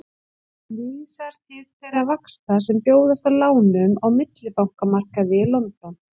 Hún vísar til þeirra vaxta sem bjóðast á lánum á millibankamarkaði í London.